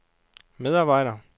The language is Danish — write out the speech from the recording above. medarbejder